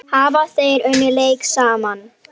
Hafa þeir unnið leik saman?